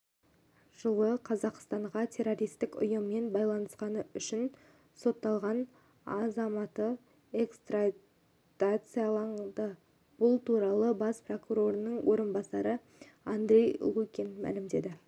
жылы қазақстанға террористік ұйыммен байланысқаны үшін сотталған азаматыэкстрадацияланды бұл туралы бас прокурорының орынбасары андрей лукин мәлімдеді